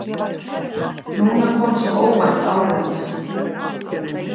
Núna kom svo óvænt árið hans.